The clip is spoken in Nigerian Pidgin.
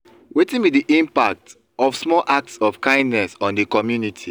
wetin be di impact of small acts of kindness on di community?